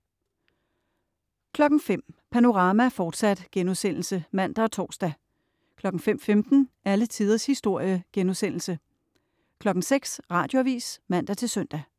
05.00 Panorama, fortsat* (man og tors) 05.15 Alle tiders historie* 06.00 Radioavis (man-søn)